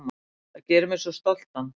Það gerir mig svo stoltan.